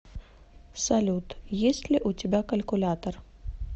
салют есть ли у тебя калькулятор